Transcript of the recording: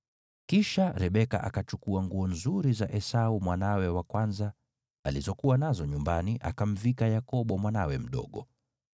Kisha Rebeka akachukua nguo nzuri za Esau mwanawe wa kwanza, alizokuwa nazo nyumbani, akamvika Yakobo mwanawe mdogo.